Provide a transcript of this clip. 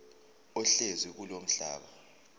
ohlezi kulowo mhlaba